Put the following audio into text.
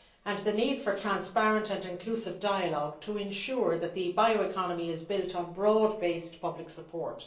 and, the need for transparent and inclusive dialogue to ensure that the bioeconomy is built on broad based public support.